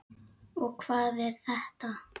og Hvað er þetta?